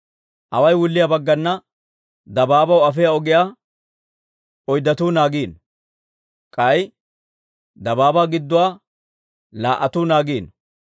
Awaay wulliyaa baggana dabaabaw afiyaa ogiyaa oyddatuu naagiino. K'ay dabaabaa gidduwaa laa"atuu naagiino.